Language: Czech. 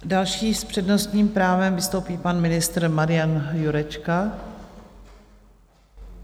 Další s přednostním právem vystoupí pan ministr Marian Jurečka.